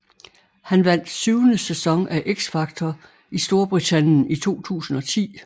Han vandt syvende sæson af X Factor i Storbritannien i 2010